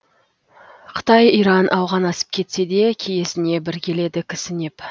қытай иран ауған асып кетсе де киесіне бір келеді кісінеп